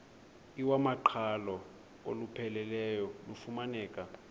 iwamaqhalo olupheleleyo lufumaneka